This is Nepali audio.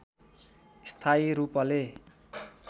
स्थायी रूपले